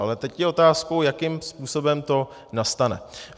A teď je otázkou, jakým způsobem to nastane.